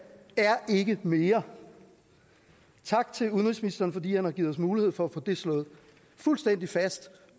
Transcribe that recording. er ikke mere tak til udenrigsministeren fordi han har givet os mulighed for at få det slået fuldstændig fast